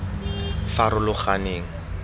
farologaneng